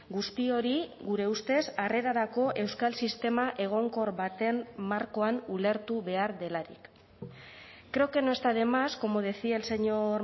guzti hori gure ustez harrerarako euskal sistema egonkor baten markoan ulertu behar delarik creo que no está de más como decía el señor